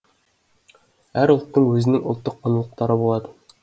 әр ұлттың өзінің ұлттық құндылықтары болады